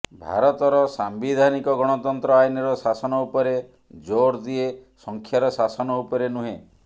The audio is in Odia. ଭାରତର ସାମ୍ବିଧାନିକ ଗଣତନ୍ତ୍ର ଆଇନର ଶାସନ ଉପରେ ଜୋର୍ ଦିଏ ସଂଖ୍ୟାର ଶାସନ ଉପରେ ନୁହେଁ